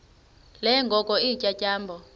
ke ngoko iintyatyambo